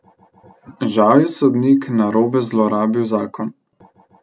Žal je sodnik narobe zlorabil zakon.